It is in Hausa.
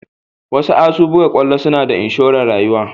wasuasu buga kwallo suna da inshoren rayuwa.